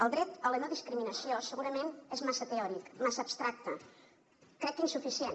el dret a la no discriminació segurament és massa teòric massa abstracte crec que insuficient